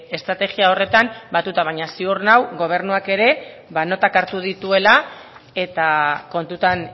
estrategia horretan batuta baina ziur nago gobernuak ere notak hartu dituela eta kontutan